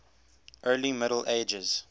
early middle ages